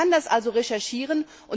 Man kann das also recherchieren.